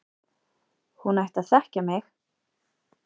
Hún ætti að þekkja mig!